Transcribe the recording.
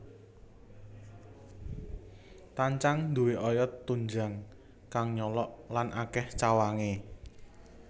Tancang duwé oyot tunjang kang nyolok lan akèh cawangé